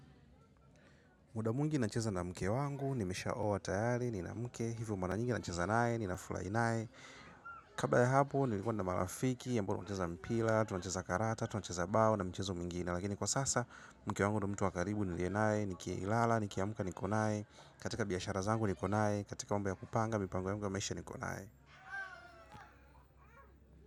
Muda mwingi nacheza na mke wangu, nimesha oa tayari, nina mke, hivyo mara nyingi nacheza nae, nina furahi nae. Kabla ya hapo, nilikuwa na marafiki, ambao ncheza mpila, tunacheza karata, tunacheza bao na mchezo mingine Lagini kwa sasa, mke wangu na mtu wakaribu, nilie nae, nikia ilala, nikia muka, nikonaye. Katika biyashara zangu, nikonaye, katika mba ya kupanga, mipango ya mga maesha, nikonaye.